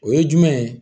O ye jumɛn ye